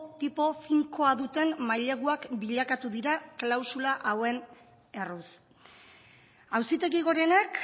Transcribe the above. tipo finkoa duten maileguak bilakatu dira klausula hauen erruz auzitegi gorenak